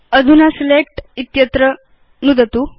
अधुना सिलेक्ट इत्यत्र नुदतु